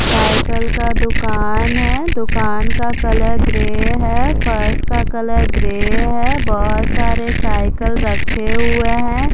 Cycle का दुकान है दुकान का कलर ग्रे है फर्श का कलर ग्रे है बहोत सारे साइकल रखे हुए हैं।